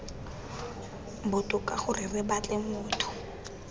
botoka gore re batle motho